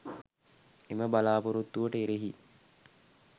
එම බලාපොරොත්තුවට එරෙහි